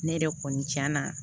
Ne yɛrɛ kɔni cɛna